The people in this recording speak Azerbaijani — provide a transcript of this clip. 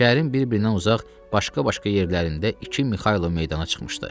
Şəhərin bir-birindən uzaq, başqa-başqa yerlərində iki Mixaylov meydana çıxmışdı.